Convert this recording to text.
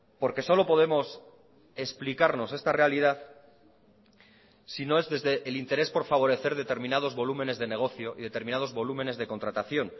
porque solo podemos explicarnos esta realidad si no es desde el interés por favorecer determinados volúmenes de negocio y determinados volúmenes de contratación